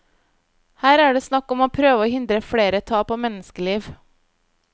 Her er det snakk om å prøve å hindre flere tap av menneskeliv.